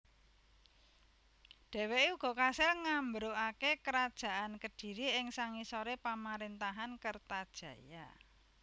Dhèwèké uga kasil ngambrukaké Kerajaan Kediri ing sangisoré pamaréntahan Kertajaya